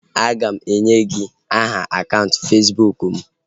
A ga m enye gị aha akaụntụ Fesbụụk m